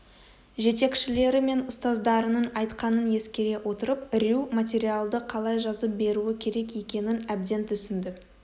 жетекшілері мен ұстаздарының айтқанын ескере отырып рью материалды қалай жазып беруі керек екенін әбден түсінді